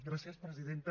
gràcies presidenta